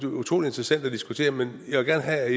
utrolig interessant at diskutere men jeg vil gerne have at